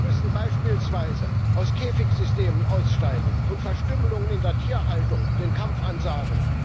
Wir müssen beispielsweise aus Käfigsystemen aussteigen und Verstümmelungen in der Tierhaltung den Kampf ansagen.